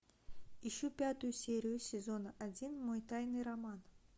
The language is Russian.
ищу пятую серию сезона один мой тайный роман